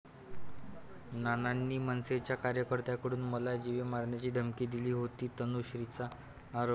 नानांनी मनसेच्या कार्यकर्त्यांकडून मला जीवे मारण्याची धमकी दिली होती, तनुश्रीचा आरोप